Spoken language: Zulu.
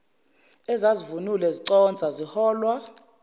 ezazivunule ziconsa ziholwa